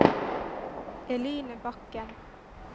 Eline Bakken